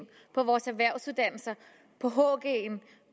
på vores erhvervsuddannelser